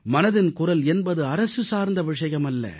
மனதின் குரல் என்பது அரசு சார்ந்த விஷயமல்ல